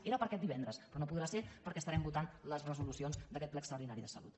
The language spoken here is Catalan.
era per aquest divendres però no podrà ser perquè estarem votant les resolucions d’aquest ple extraordinari de salut